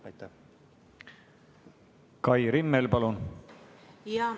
Kai Rimmel, palun!